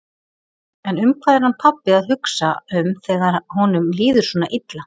En um hvað er hann pabbi að hugsa um þegar honum líður svona illa?